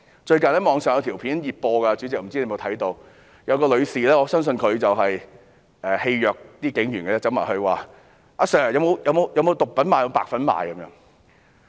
最近網上有一段熱播影片，不知道主席有否看過，有一名女士——我相信她是想戲謔警員——向警員詢問︰"阿 Sir， 有沒有毒品賣？